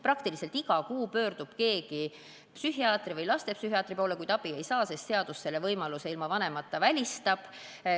Peaaegu iga kuu pöördub keegi psühhiaatri või lastepsühhiaatri poole, kuid abi ei saa, sest seadus selle võimaluse ilma vanema nõusolekuta välistab.